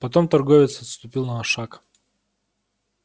потом торговец отступил на шаг